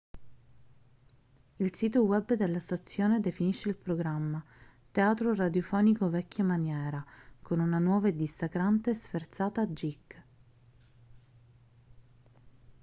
il sito web della stazione definisce il programma teatro radiofonico vecchia maniera con una nuova e dissacrante sferzata geek